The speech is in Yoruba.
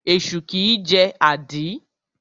Esu kìí jẹ́ àdí.